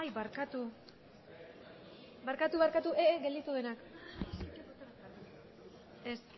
barkatu barkatu gelditu denak ez